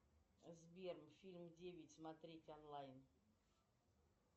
сбер фильм девять смотреть онлайн